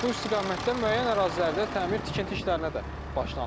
Bu istiqamətdə müəyyən ərazilərdə təmir-tikinti işlərinə də başlanılıb.